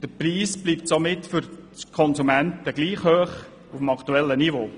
Der Preis bleibt somit für die Konsumenten auf demselben Niveau.